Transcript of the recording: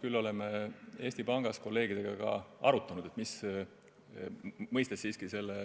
Küll aga oleme Eesti Pangas kolleegidega arutanud, et – mõistes selle